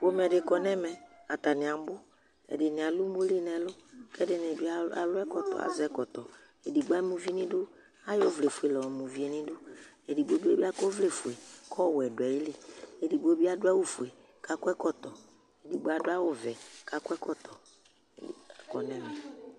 pomɛdi kɔ nɛvɛ atani abʋ ɛdini alʋ ʋmoli nɛlʋ kʋ ɛdini bi alʋ ɛkɔtʋ azɛ ɛkɔtɔ edigbo ama uvi ni du ayɔ ɔvlɛ fuɛlɛ la yɔ ma ʋvi ni du edigbo bi akɔ ɔvlɛ fuɛ kʋ ɔwɛ dʋ ayili kʋ ɛdigbo bi adʋ awʋ fʋɛ kʋ akɔ ɛkɔtɔ edigbo adu awu vɛ akɔ nɛmɛ